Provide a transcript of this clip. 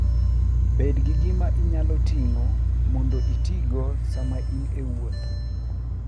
Bed gi gima inyalo ting'o mondo itigo sama in e wuoth.